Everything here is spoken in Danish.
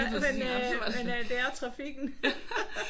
Ja men øh men øh det er trafikken ha ha